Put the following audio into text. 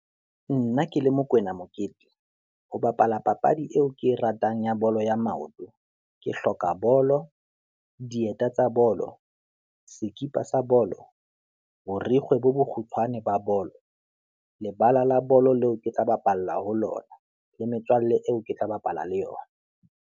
Nna ke le Mokoena Mokete, ho bapala papadi eo ke e ratang ya bolo ya maoto, ke hloka bolo, dieta tsa bolo, sekipa sa bolo, borikgwe bo bokgutshwane ba bolo, lebala la bolo leo ke tla bapalla ho lona, le metswalle eo ke tla bapala le yona.